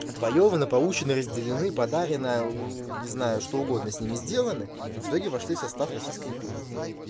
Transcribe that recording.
отвоёваны получены разделены подаренная не знаю что угодно с ними сделаны и в итоге вошли в состав российской империи